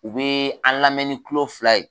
U bɛ an lamɛn ni tulo fila ye.